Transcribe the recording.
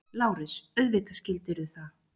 LÁRUS: Auðvitað skildirðu það.